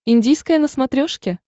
индийское на смотрешке